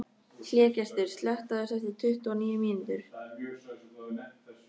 Hlégestur, slökktu á þessu eftir tuttugu og níu mínútur.